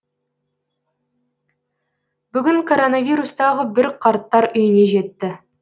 бүгін коронавирус тағы бір қарттар үйіне жетті